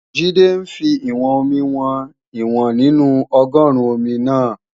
Jídé ń fi ìwọ̀n-omi wọn ìwọ̀n nínú ọgọ́ruun omi náà